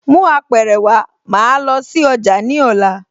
Mú Apẹ̀rẹ̀ wá, màá lọ sí ọjà ní ọ̀la